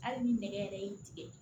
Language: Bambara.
Hali ni nɛgɛ yɛrɛ y'i tigɛ